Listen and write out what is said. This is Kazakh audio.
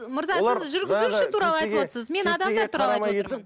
мырза сіз жүргізуші туралы айтыватырсыз мен адамдар туралы айтып отырмын